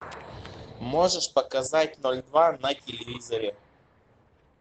можешь показать ноль два на телевизоре